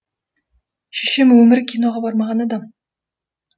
шешем өмірі киноға бармаған адам